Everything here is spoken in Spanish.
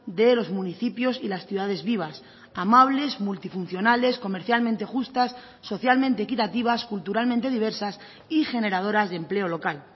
de los municipios y las ciudades vivas amables multifuncionales comercialmente justas socialmente equitativas culturalmente diversas y generadoras de empleo local